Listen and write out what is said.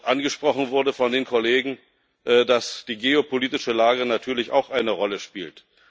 Angesprochen wurde von den Kollegen, dass die geopolitische Lage natürlich auch eine Rolle spielt.